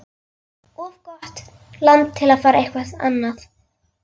Of gott land til að fara eitthvað annað.